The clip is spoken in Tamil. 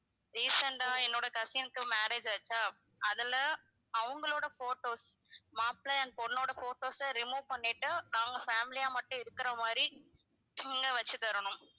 recent ஆ என்னோட cousin க்கு marriage ஆச்சா அதுல அவங்களோட photos மாப்பிள்ளை and பொண்ணோட photos அ remove பண்ணிட்டு நாங்க family யா மட்டும் இருக்கிற மாதிரி நீங்க வச்சு தரணும்